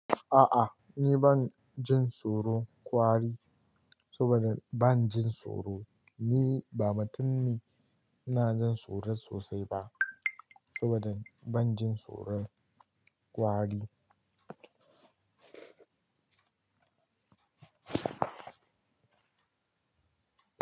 A'a, ni ban jin tsoro kwari saboda bana jin tsoro. Ni ba matun ne me jin tsoro sosai ba saboda ban jin tsoron kwari.